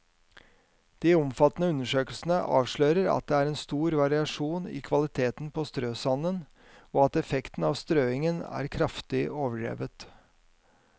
De omfattende undersøkelsene avslører at det er stor variasjon i kvaliteten på strøsanden, og at effekten av strøingen er kraftig overdrevet.